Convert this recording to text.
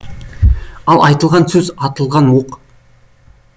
ал айтылған сөз атылған оқ